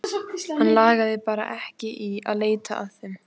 Hann lagði bara ekki í að leita að þeim.